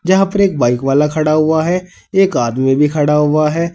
जहां पे एक बाइक वाला खड़ा हुआ है एक आदमी भी खड़ा हुआ है।